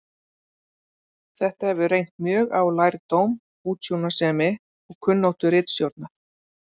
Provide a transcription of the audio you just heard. Þetta hefur reynt mjög á lærdóm, útsjónarsemi og kunnáttu ritstjórnar.